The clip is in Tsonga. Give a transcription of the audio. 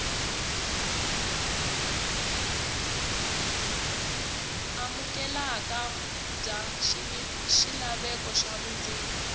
amukeleka bya swilaveko swa vundzeni